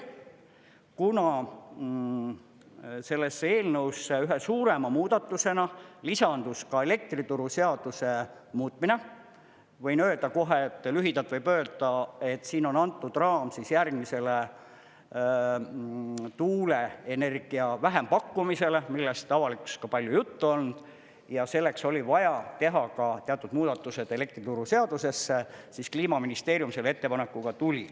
Kuna sellesse eelnõusse ühe suurema muudatusena lisandus ka elektrituruseaduse muutmine, võin öelda kohe, et lühidalt võib öelda, et siin on antud raam järgmisele tuuleenergia vähempakkumisele, millest avalikkuses ka palju juttu olnud, ja selleks oli vaja teha ka teatud muudatused elektrituruseadusesse, siis Kliimaministeerium selle ettepanekuga tuli.